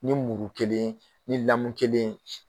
Ni muru ye kelen ni lamu kelen ye